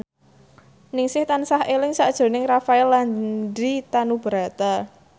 Ningsih tansah eling sakjroning Rafael Landry Tanubrata